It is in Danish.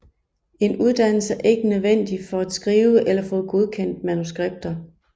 En uddannelse er ikke nødvendig for at skrive eller få godkendt manuskripter